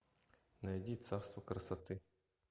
найди царство красоты